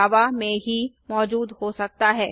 जावा में ही मौजूद हो सकता है